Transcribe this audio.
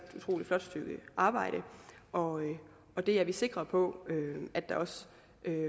utrolig flot stykke arbejde og det er vi sikre på at der også